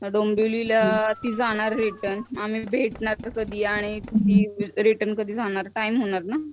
डोंबिवलीला ती जाणार रिटर्न आमही भेटणार कधी आणि रिटर्न कधी जाणार टाइम होणार ना.